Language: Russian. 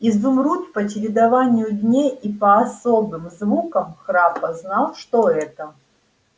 изумруд по чередованию дней и по особым звукам храпа знал что это